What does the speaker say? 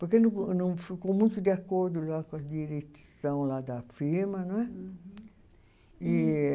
Porque não ficou muito de acordo com a direção da firma. não é e